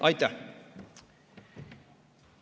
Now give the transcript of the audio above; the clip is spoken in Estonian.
Aitäh!